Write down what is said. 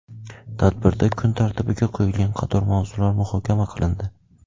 Tadbirda kun tartibiga qo‘yilgan qator mavzular muhokama qilindi.